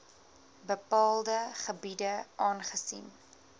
bepaalde gebiede aangesien